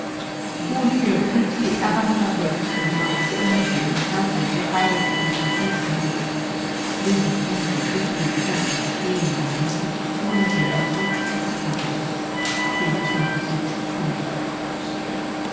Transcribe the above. Kuhle ukuthi abantwana bethu bafunde baze bayafika esigabeni esiphezulu se yunivesithi ukuze isigaba sethu sithuthuke.